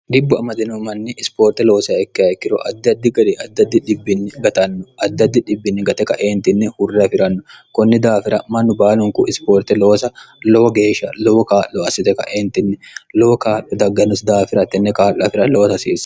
gibbu amadino manni ispoorte loosa ikke ayikkiro addaddi ga'ri adddd gatanno dd gte kaeentinni hurra afi'ranno kunni daafira mannu baalunku ispoorte loosa lowo geeshsha lowo kaa'lo assite kaeentinni lowo kaa'lo daggannosi daafira htenni kaa'lo afira lowoto hasiia